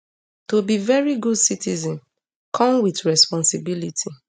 to be veri good citizen come wit responsibility